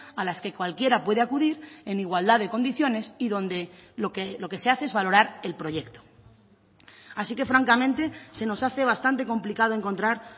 a las que cualquiera puede acudir en igualdad de condiciones y donde lo que se hace es valorar el proyecto así que francamente se nos hace bastante complicado encontrar